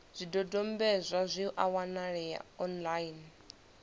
zwidodombedzwa zwi a wanalea online